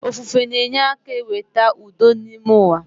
Ofufe na-enye aka weta udo n’ime uwa